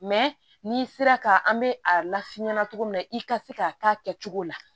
n'i sera ka an bɛ a lafiɲɛn cogo min na i ka se k'a k'a kɛcogo la